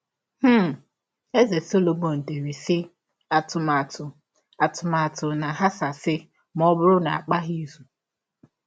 um Eze Sọlọmọn dere, sị: “ Atụmatụ “ Atụmatụ na - aghasasị ma ọ bụrụ na a gbaghị izụ. ”